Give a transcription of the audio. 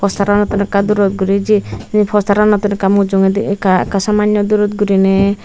posteranottun ekka durot guri jei sei posteranottuun ekka mujungedi ekka samanyo durot guriney.